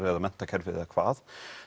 menntakerfið eða hvað